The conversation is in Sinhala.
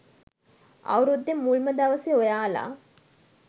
අවුරුද්දෙ මුල්ම දවසෙ ඔයාල